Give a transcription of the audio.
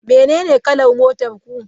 Menene kalar motar ku?